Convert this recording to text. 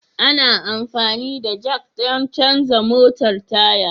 Ana amfani da Jack don canza motar Taya.